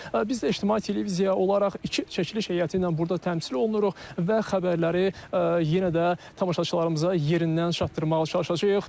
Biz də ictimai televiziya olaraq iki çəkiliş heyəti ilə burda təmsil olunuruq və xəbərləri yenə də tamaşaçılarımıza yerindən çatdırmağa çalışacağıq.